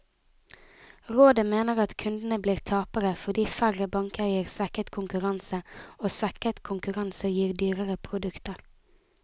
Rådet mener at kundene blir tapere, fordi færre banker gir svekket konkurranse, og svekket konkurranse gir dyrere produkter.